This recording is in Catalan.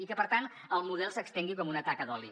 i que per tant el model s’estengui com una taca d’oli